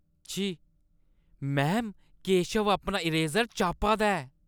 छी! मैम, केशव अपना इरेजर चापा दा ऐ।